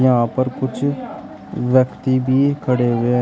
यहां पर कुछ व्यक्ति भी खड़े हुए--